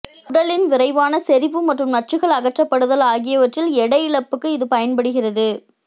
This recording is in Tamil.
உடலின் விரைவான செறிவு மற்றும் நச்சுகள் அகற்றப்படுதல் ஆகியவற்றில் எடை இழப்புக்கு இது பயன்படுகிறது